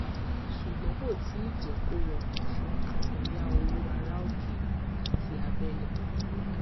ṣùgbọn kò tíì jẹ kó rọrùn fun àkúnya owó àrà òkèèrè àti abẹlé